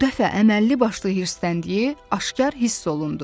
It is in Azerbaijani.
Bu dəfə əməlli başlı hirsləndiyi aşkar hiss olundu.